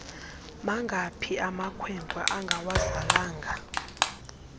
mangaphi amakwenkwe angawazalanga